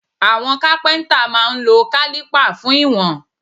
Àwọn Kápẹ́ńtà máa ń lo kálípà fún ìwọ̀n.